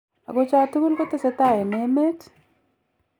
Ago cha tugul kotesetai en emet?